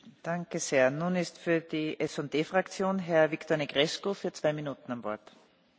Doamnă președintă, Uniunea Europeană are nevoie de o administrație transparentă, eficientă și independentă.